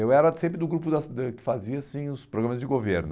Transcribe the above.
Eu era sempre do grupo das da que fazia assim os programas de governo.